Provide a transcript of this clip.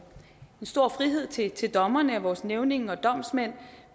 stor frihed til til dommerne vores nævninge og domsmænd